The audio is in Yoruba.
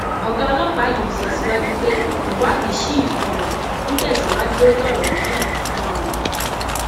ọgá ọlọpàá yìí sọ síwájú pé ìwádìí ṣì um ń tẹsíwájú lórí ọrọ náà um